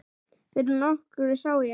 Fyrir nokkru sá ég